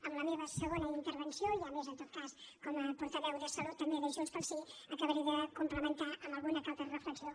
en la meva segona intervenció ja més en tot cas com a portaveu de salut i també de junts pel sí ho acabaré de complementar amb alguna reflexió